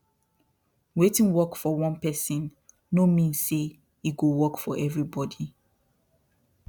wetin work for one person no mean say e go work for everybody